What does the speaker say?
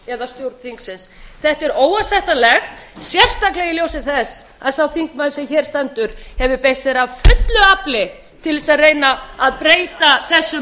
við stjórn þingsins þetta er óásættanlegt sérstaklega í ljósi þess að sá þingmaður sem hér stendur hefur beitt sér af fullu afli til að reyna að breyta þessu